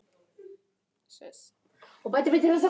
Hann gekk með eftirsjá frammí eldhúsið.